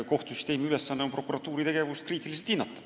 Kohtusüsteemi ülesanne on prokuratuuri tegevust kriitiliselt hinnata.